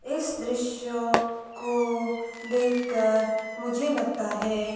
इस दृश्य को देखकर मुझे लगता है--